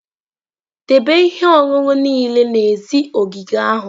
Debe ihe ọṅụṅụ niile n'èzí ogige ahụ!